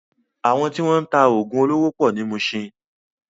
Àwọn tí wọ́n ń ta oògùn olóró pọ̀ ní Muṣin.